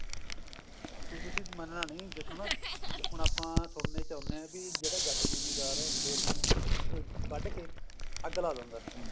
ਹੁਣ ਤੁਸੀਂ ਮੰਨਣਾ ਨੀ ਦੇਖੋ ਨਾ ਹੁਣ ਆਪਾਂ ਸੁਣਨੇ ਚ ਆਉਂਦੇ ਹਾਂ ਕੀ ਜਿਹੜਾ ਜੱਟ ਜਿਮੀਦਾਰ ਖੇਤ ਨੂੰ ਵੱਡ ਕੇ ਅੱਗ ਲਾ ਦਿੰਦਾ